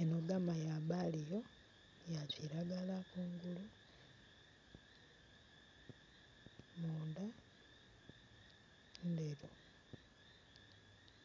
Enho gama ya baliyo ya kiragala kungulu, munda ndheru,